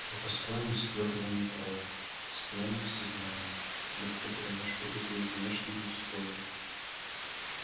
я построен из твёрдого металла постоянно в сознании легко переношу любые внешние условия